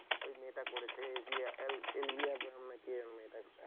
ওই মেয়েটা করেছে বিয়ে এল এল বিহাবরাণ, কি যেন মেয়েটা,